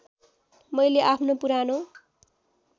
मैले आफ्नो पुरानो